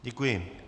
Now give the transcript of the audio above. Děkuji.